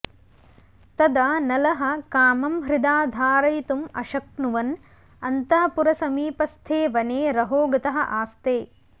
तदा नलः कामं हृदा धारयितुम् अशक्नुवन् अन्तःपुरसमीपस्थे वने रहोगतः आस्ते